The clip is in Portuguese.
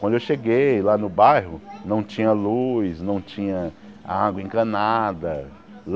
Quando eu cheguei lá no bairro, não tinha luz, não tinha água encanada.